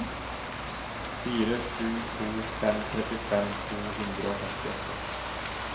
fire sju to fem trettifem to hundre og femtiåtte